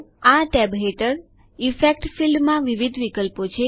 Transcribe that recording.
આ ટેબ હેઠળ effects field ક્ષેત્રમાં વિવિધ વિકલ્પો છે